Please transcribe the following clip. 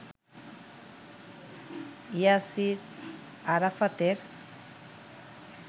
ইয়াসির আরাফাতের